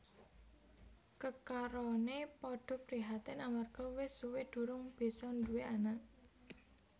Kekaroné padha prihatin amarga wis suwé durung bisa nduwé anak